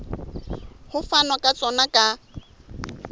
ho fanwa ka sona ka